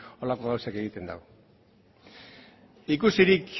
horrelako gauzak egiten ditu ikusirik